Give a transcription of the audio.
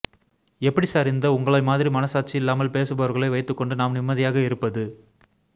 எப்படி சார் இந்த உங்களை மாதிரி மனசாட்சி இல்லாமல் பேசுபவர்களை வைத்துக்கொண்டு நாம் நிம்மதியாக இருப்பது